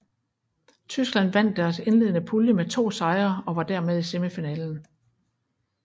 Tyskland vandt deres indledende pulje med to sejre og var dermed i semifinalen